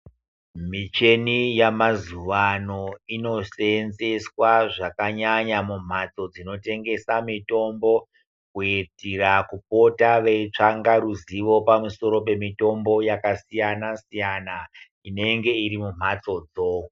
Michini yemazuva ano inosenzeswa zvakanyanya mumhatso dzinotengesa mitombo kuitira kupota veitsvaka ruzivo pamusoro pemitombo yakasiyana siyana inenge iri mumhatsodzo.